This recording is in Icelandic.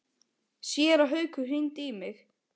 Séra Haukur hringdi í mig.